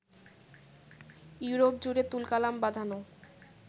ইউরোপ-জুড়ে তুলকালাম বাধানো